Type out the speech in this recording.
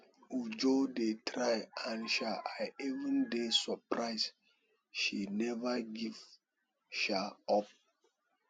uju dey try and um i even dey surprised say she never give um up